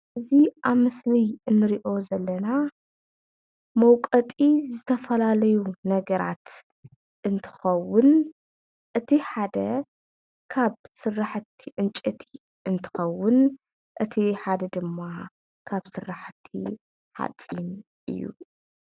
እዚ ኣብ ምስሊ እንሪኦ ዘለና መውቀጢ ዝተፈላለዩ ነገራት እንትከውን እቲ ሓደ ካብ ስራሕቲ ዕንጨይቲ እንትከውን እቲ ሓደ ድማ ካብ ስራሕቲ ሓፂን እዩ።